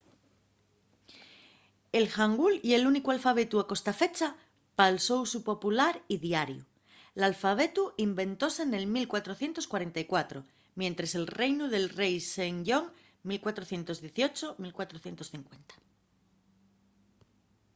el hangul ye l'únicu alfabetu a costafecha pal so usu popular y diariu. l'alfabetu inventóse nel 1444 mientres el reinu del rei sejong 1418–1450